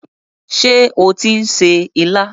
Ṣé ó tí ń se ilá?